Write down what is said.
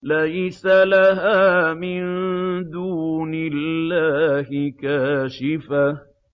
لَيْسَ لَهَا مِن دُونِ اللَّهِ كَاشِفَةٌ